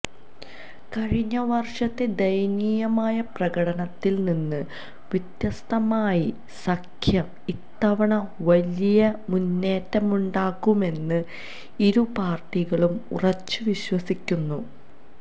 കഴിഞ്ഞ വര്ഷത്തെ ദയനീയമായ പ്രകടനത്തില് നിന്ന് വ്യത്യസ്തമായി സഖ്യം ഇത്തവണ വലിയ മുന്നേറ്റമുണ്ടാക്കുമെന്ന് ഇരുപാര്ട്ടികളും ഉറച്ച് വിശ്വസിക്കുന്നു